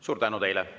Suur tänu teile!